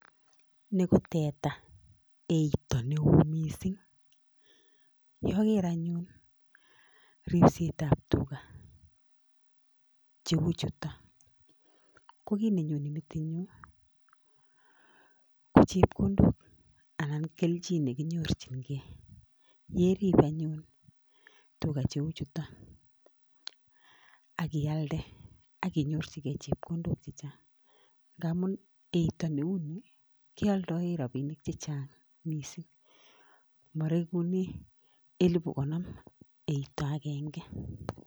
Ni ko teta, eito neo mising. Yoger anyun, ribsetab tuga cheu chuto, ko kiy ne nyone metit nyu ko chepkondok anan kelchin ne kinyorchingei. Ye rib anyun tuga cheu chuto, akialde, akinyorchigei chepkondok chechang, ngamun eito neuni kealdoie rabinik chechang mising. Maregune elebu konom eito agenge.